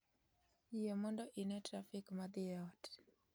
Yie mondo ine trafik ma dhi e ot